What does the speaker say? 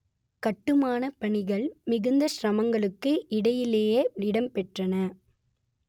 கட்டுமானப் பணிகள் மிகுந்த சிரமங்களுக்கு இடையிலேயே இடம்பெற்றன